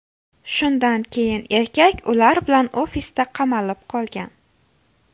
Shundan keyin erkak ular bilan ofisda qamalib qolgan.